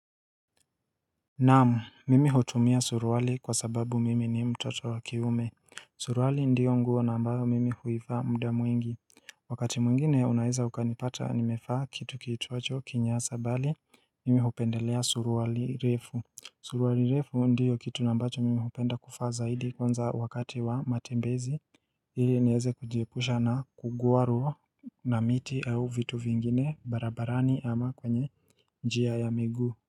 Naam, mimi hutumia suruwali kwa sababu mimi ni mtoto wa kiume Suruwali ndiyo nguo na ambayo mimi huivaa muda mwingi Wakati mwingine unaeza ukanipata nimevaa kitu kiitwacho kinyasa bali mimi hupendelea suruwali refu Suruwali refu ndiyo kitu na ambacho mimi hupenda kufaa zaidi kwnza wakati wa matembezi hili nieze kujiepusha na kugwarwa na miti au vitu vingine barabarani ama kwenye njia ya migu.